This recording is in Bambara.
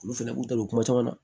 Olu fɛnɛ b'u ta don kuma caman na